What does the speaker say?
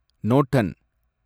Norton